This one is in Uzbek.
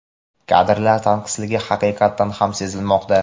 kadrlar tanqisligi haqiqatan ham sezilmoqda.